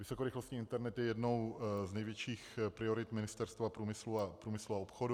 Vysokorychlostní internet je jednou z největších priorit Ministerstva průmyslu a obchodu.